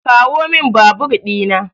Kawomin babur dina.